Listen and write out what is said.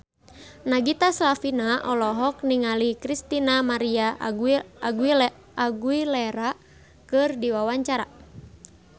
Nagita Slavina olohok ningali Christina María Aguilera keur diwawancara